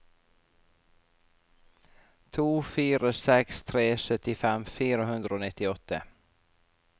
to fire seks tre syttifem fire hundre og nittiåtte